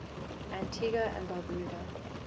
antigua and barbuda